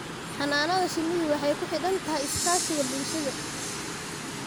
Xannaanada shinnidu waxay ku xidhan tahay iskaashiga bulshada.